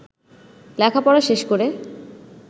লেখাপড়া শেষ করে